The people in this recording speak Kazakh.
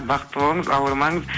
бақытты болыңыз ауырмаңыз